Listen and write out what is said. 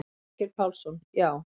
Þorgeir Pálsson: Já.